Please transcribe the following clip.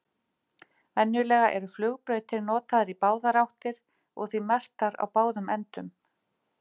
Venjulega eru flugbrautir notaðar í báðar áttir og því merktar á báðum endum.